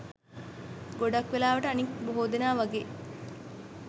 ගොඩක් වෙලාවට අනික් බොහෝ දෙනා වගේ